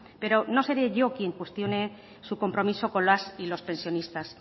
pero no seré yo quien cuestione su compromiso con las y los pensionistas